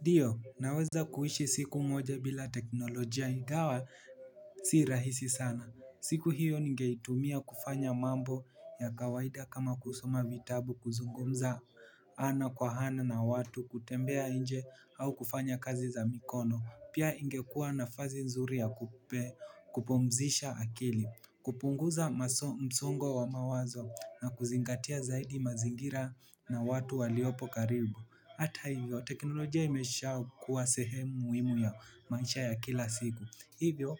Ndio, naweza kuishi siku moja bila teknolojia ingawa si rahisi sana. Siku hiyo ningeitumia kufanya mambo ya kawaida kama kusoma vitabu, kuzungumza ana kwa ana na watu, kutembea nje au kufanya kazi za mikono. Pia ingekua nafasi nzuri ya kupumzisha akili, kupunguza msongo wa mawazo na kuzingatia zaidi mazingira na watu waliopo karibu. Hata hivyo teknolojia imeshakuwa sehemu muhimu ya maisha ya kila siku. Hivyo